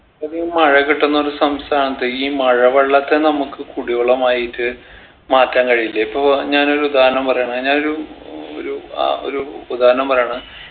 ഇത്രയധികം മഴ കിട്ടുന്നൊരു സംസ്ഥാനത്ത് ഈ മഴ വെള്ളത്തെ നമ്മക്ക് കുടി വെള്ളമായിട്ട് മാറ്റാൻ കഴിയില്ലേ ഇപ്പൊ ഞാനൊരു ഉദാഹരണം പറയാണ് ഞാനൊരു ഒരു അഹ് ഒരു ഉദാഹരണം പറയാണ്